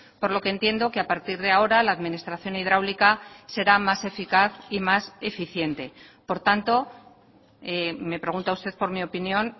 por lo que entiendo que a partir de ahora la administración hidráulica será más eficaz y más eficiente por tanto me pregunta usted por mi opinión